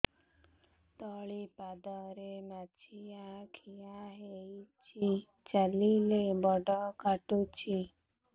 ତଳିପାଦରେ ମାଛିଆ ଖିଆ ହେଇଚି ଚାଲିଲେ ବଡ଼ କାଟୁଚି